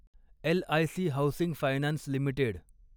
LIC housing finance limited